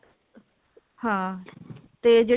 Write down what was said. ਹਾਂ ਤੇ ਜਿਹੜੀ